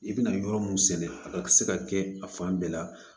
I bɛna yɔrɔ mun sɛnɛ a ka se ka kɛ a fan bɛɛ la